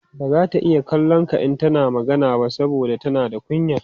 bazata iya kallon ka in tana magana ba saboda tana da kunya